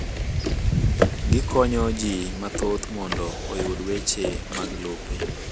Gikonyo ji mathoth mondo oyud weche mag lope.